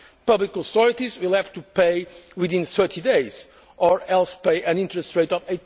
contract. Public authorities will have to pay within 30 days or else pay an interest